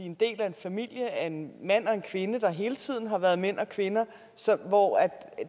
en del af en familie af en mand og en kvinde der hele tiden har været mand og kvinde og hvor